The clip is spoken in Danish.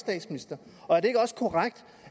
og er det ikke også korrekt